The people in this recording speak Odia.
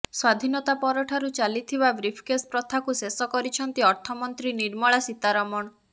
ସ୍ବାଧିନତା ପରଠାରୁ ଚାଲିଥିବା ବ୍ରିଫକେସ ପ୍ରଥାକୁ ଶେଷ କରିଛନ୍ତି ଅର୍ଥମନ୍ତ୍ରୀ ନିର୍ମଳା ସୀତାରମଣ